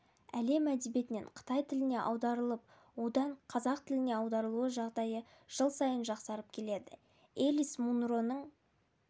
әлем әдебиетінен қытай тіліне аударылып одан қазақ тіліне аударылу жағдайы жыл сайын жақсарып келеді элис мунроның